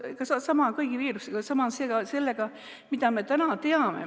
Sama on kõigi viirusega, sama on ka sellega.